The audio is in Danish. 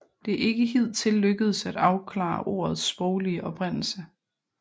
Det er ikke hidtil lykkedes at afklare ordets sproglige oprindelse